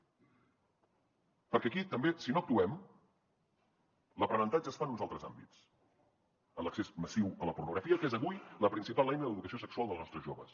perquè aquí també si no actuem l’aprenentatge es fa en uns altres àmbits en l’accés massiu a la pornografia que és avui la principal eina d’educació sexual dels nostres joves